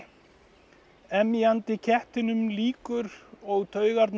emjandi kettinum líkur og taugarnar